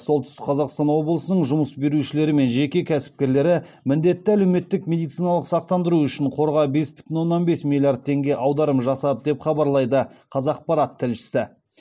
солтүстік қазақстан облысының жұмыс берушілері мен жеке кәсіпкерлері міндетті әлеуметтік медициналық сақтандыру үшін қорға бес бүтін оннан бес миллиард теңге аударым жасады деп хабарлайды қазақпарат тілшісі